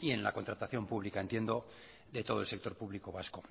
y en la contratación pública entiendo de todo el sector público vasco